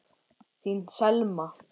Þín Selma.